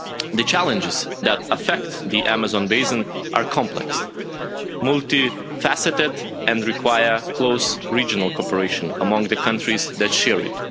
The challenges that affect the Amazon Basin are complex, multi faceted and require close regional cooperation among the countries that share it.